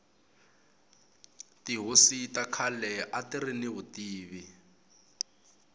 tihosi ta khale atiri ni vutivi